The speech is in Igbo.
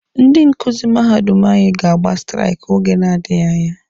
Ndị nkuzi mahadum anyị ga-agba straiki oge na-adịghi anya